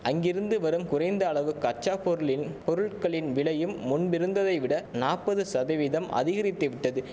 அங்கிருந்து வரும் குறைந்த அளவு கச்சாப்பொருளின் பொருள்களின் விலையும் முன்பு இருந்ததை விட நாப்பது சதவீதம் அதிகரித்து விட்டது